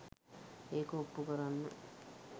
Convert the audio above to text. ඒක ඔප්පු කරන්න